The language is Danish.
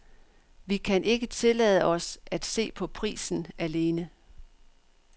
Vi kan ikke tillade os at se på prisen alene.